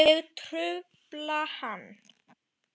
Ég trufla hann.